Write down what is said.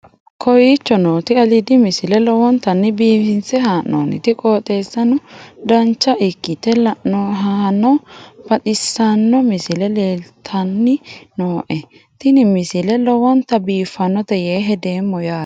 kowicho nooti aliidi misile lowonta biifinse haa'noonniti qooxeessano dancha ikkite la'annohano baxissanno misile leeltanni nooe ini misile lowonta biifffinnote yee hedeemmo yaate